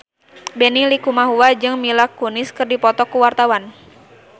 Benny Likumahua jeung Mila Kunis keur dipoto ku wartawan